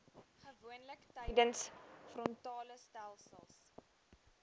gewoonlik tydens frontalestelsels